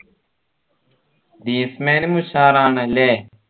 Greece മാനും ഉഷാറാണല്ലേ